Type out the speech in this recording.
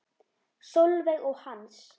Sólveig og Hans.